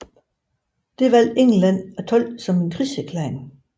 Det valgte England at tolke som en krigserklæring